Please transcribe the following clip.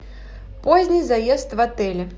поздний заезд в отеле